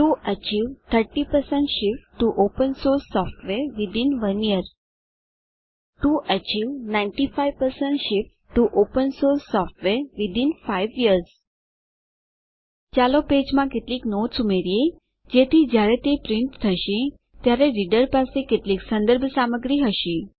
1 વર્ષ અંદર open source software થી 30 શિફ્ટ હાંસલ કરવા માટે વર્ષની અંદર ઓપનસોર્સ સોફ્ટવેર થી 95 શિફ્ટ હાંસલ કરવા માટે ચાલો પેજમાં કેટલીક નોટ્સ ઉમેરીએ જેથી જયારે તે પ્રિન્ટ થશે ત્યારે રીડર પાસે કેટલીક સંદર્ભ સામગ્રી હશે